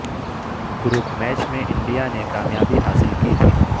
group match میں India نے کامیابی حاصل کی تھی